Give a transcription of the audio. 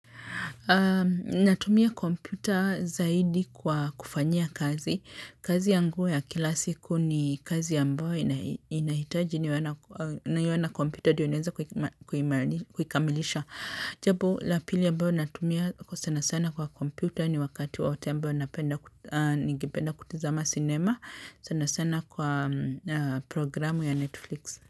Natumia komputa zaidi kwa kufanyia kazi. Kazi yangu ya kila siku ni kazi ambayo inahitaji niwe na kompyuta ndio niweze kuima kuikamilisha. Jambo la pili ambalo natumia sana sana kwa kompyuta ni wakati wote ambao napenda ningependa kutizama sinema sana sana kwa programu ya Netflix.